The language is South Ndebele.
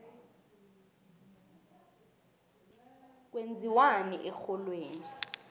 kwenziwani erholweni